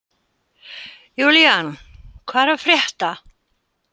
Julian, hvað er að frétta?